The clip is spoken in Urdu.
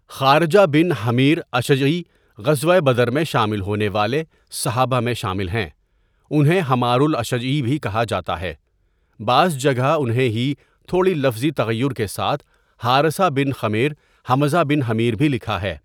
خارجہ بن حمیراشجعی غزوہ بدر میں شامل ہونے والے صحابہ میں شامل ہیں انہیں حمار الاشجعی بھی کہا جاتا ہے بعض جگہ انہیں ہی تھوڑی لفظی تغیر کے ساتھ حارثہ بن خمیر حمزہ بن حمیر بھی لکھا ہے.